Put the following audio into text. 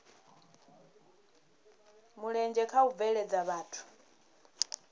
mulenzhe kha u bveledza zwithu